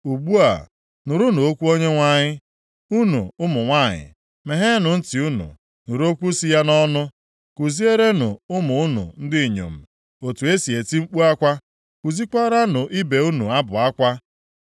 Ugbu a, nụrụnụ okwu Onyenwe anyị, unu ụmụ nwanyị, megheenụ ntị unu nụrụ okwu si ya nʼọnụ. Kuzierenụ ụmụ unu ndị inyom otu e si eti mkpu akwa, kuziekwaranụ ibe unu abụ akwa.